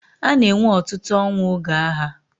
A na-enwe ọtụtụ ọnwụ oge agha.